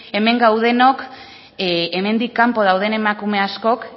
hemen gaudenok hemendik kanpo dauden emakume askok